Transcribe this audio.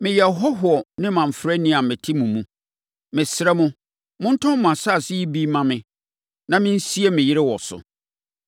“Meyɛ ɔhɔhoɔ ne mamfrani a mete mo mu. Mesrɛ mo, montɔn mo asase yi bi mma me, na mensie me yere wɔ so.”